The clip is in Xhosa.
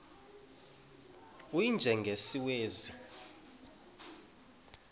u y njengesiwezi